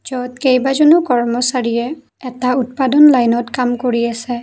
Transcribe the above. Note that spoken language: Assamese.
ইয়ত কেইবাজনো কৰ্মচাৰীয়ে এটা উৎপাদন লাইনত কাম কৰি আছে।